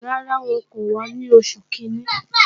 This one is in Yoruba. Rárá, wọn kò wá ní oṣù kìíní